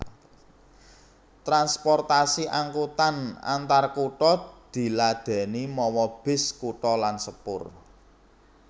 Transportasi angkutan antarkutha diladèni mawa bis kutha lan sepur